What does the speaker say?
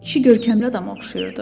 Kişi görkəmli adama oxşayırdı.